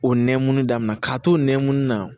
O nɛmunni daminɛna k'a to nɛkun na